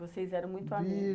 Vocês eram muito amigas.